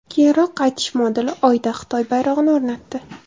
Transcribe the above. Keyinroq qaytish moduli Oyda Xitoy bayrog‘ini o‘rnatdi .